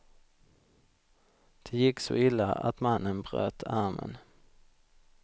Det gick så illa att mannen bröt armen.